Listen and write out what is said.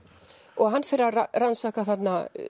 og hann fer að rannsaka þarna